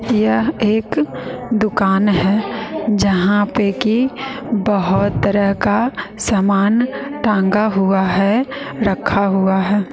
यह एक दुकान है जहां पे की बहोत तरह का सामान टांगा हुआ है रखा हुआ है।